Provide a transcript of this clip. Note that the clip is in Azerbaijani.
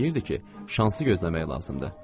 Deyirdi ki, şansı gözləmək lazımdır.